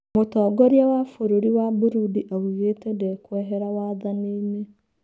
Mũtongoria wa bũrũri wa Burudi augĩte ndekwehera wathani-nĩ